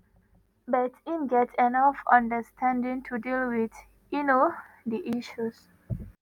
but im get enough understanding to deal wit um di issues.